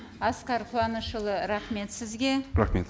асқар қуанышұлы рахмет сізге рахмет